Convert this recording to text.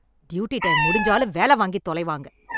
Duty time முடிஞ்சாலும் வேல வாங்கித் தொலைவாங்க.